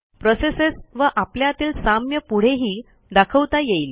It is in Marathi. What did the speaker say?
प्रोसेसेस व आपल्यातील साम्य पुढेही दाखवता येईल